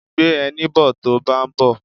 Gbé ẹní bo tó báa ń bọ̀.